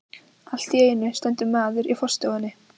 Allt í einu stendur maður í forstofunni.